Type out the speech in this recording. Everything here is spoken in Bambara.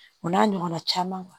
O n'a ɲɔgɔnna caman